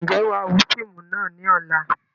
Ǹjẹ́ wàá wo fíìmù náà ni ọ̀la?